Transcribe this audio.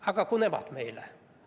"– "Aga kui nemad meile?